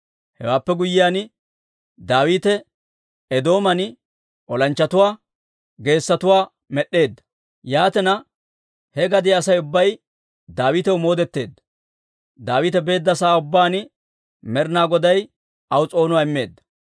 Hewaappe guyyiyaan, Daawite Eedooman olanchchatuwaa geessotuwaa med'd'eedda; yaatina, he gadiyaa Asay ubbay Daawitaw moodetteedda. Daawite beedda sa'aa ubbaan Med'inaa Goday aw s'oonuwaa immeedda.